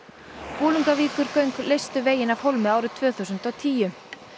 Bolungarvíkurgöng leystu veginn af hólmi árið tvö þúsund og tíu